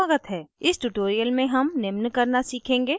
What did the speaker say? इस tutorial में हम निम्न करना सीखेंगे